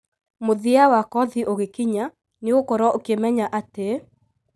mũthia wakothi ũgĩkinya nĩũgũkorwo ũkĩmenya atï: